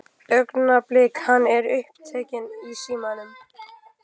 Augnablik, hann er upptekinn í símanum.